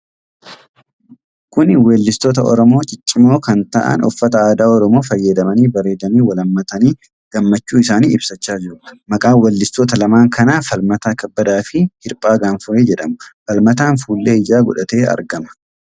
Kuni weellistoota Oromoo ciccimoo kan ta'an uffata aadaa Oromoon faayamanii bareedanii, wal hammatanii gammachuu isaanii ibsachaa jiru. Maqaan weellistoota lamaan kanaa Falmataa Kabbadaa fi Hirphaa Gaanfuree jedhamu. Falmataan fuullee ijaa godhatee argama.